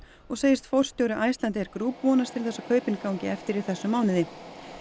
og segist forstjóri Icelandair Group vonast til þess að kaupin gangi eftir í þessum mánuði